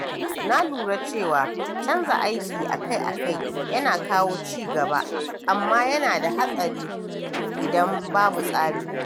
Na lura cewa canza aiki akai-akai yana kawo ci gaba, amma yana da haɗari idan babu tsari.